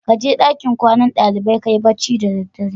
Kaje dankin kwana dalibai kayi bacci da daddare.